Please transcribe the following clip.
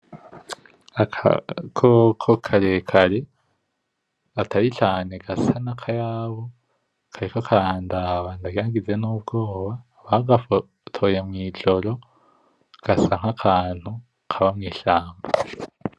Agakoko kare kare atari cane gasa nk'akyabu kariko karandaba ndagize nubwoba, bagafotoye mwijoro gasa nk'akantu kaba mw'ishamba .